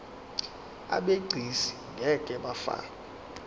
abegcis ngeke bafakwa